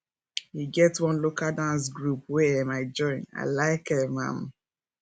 e get one local dance group wey um i join i like um am